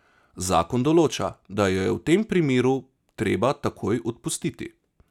Zakon določa, da jo je v tem primeru treba takoj odpustiti.